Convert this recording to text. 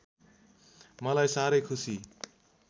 मलाई साह्रै खुसी